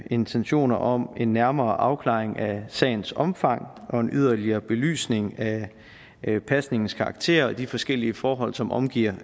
intentioner om en nærmere afklaring af sagens omfang og en yderligere belysning af pasningens karakter og de forskellige forhold som omgiver